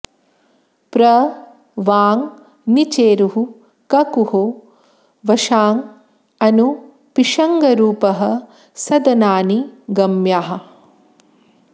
प्र वां निचेरुः ककुहो वशाँ अनु पिशङ्गरूपः सदनानि गम्याः